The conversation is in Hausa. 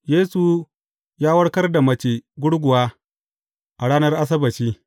Yesu ya warkar da mace gurguwa a ranar Asabbaci.